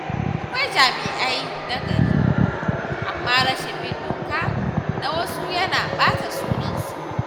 Akwai jami’ai nagari, amma rashin bin doka na wasu yana ɓata sunan su.